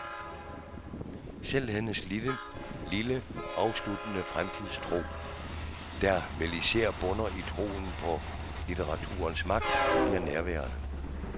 Selv hendes lille, afsluttende fremtidstro, der vel især bunder i troen på litteraturens magt, bliver nærværende.